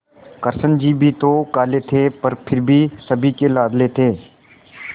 कृष्ण जी भी तो काले थे पर फिर भी सभी के लाडले थे